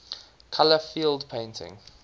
color field painting